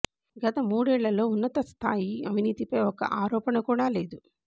గత మూడేళ్లలో ఉన్నతస్థాయి అవినీతిపై ఒక్క ఆరోపణ కూడ లేదు